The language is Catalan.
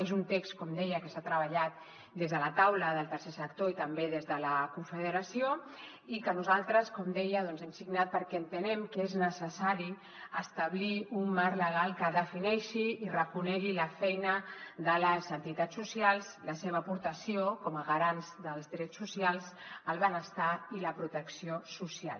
és un text com deia que s’ha treballat des de la taula del tercer sector i també des de la confederació i que nosaltres com deia doncs hem signat perquè entenem que és necessari establir un marc legal que defineixi i reconegui la feina de les entitats socials la seva aportació com a garants dels drets socials el benestar i la protecció social